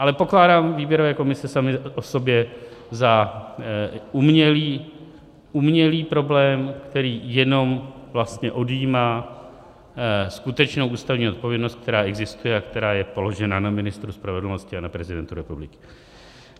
Ale pokládám výběrové komise samy o sobě za umělý problém, který jenom vlastně odjímá skutečnou ústavní odpovědnost, která existuje a která je položena na ministru spravedlnosti a na prezidentu republiky.